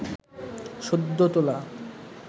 সদ্য তোলা